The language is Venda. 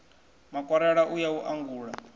makwarela u ya u angula